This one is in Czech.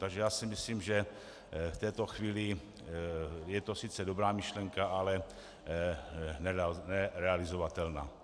Takže já si myslím, že v této chvíli je to sice dobrá myšlenka, ale nerealizovatelná.